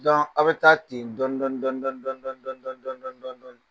aw bɛ taa ten dɔni dɔni dɔni dɔni dɔni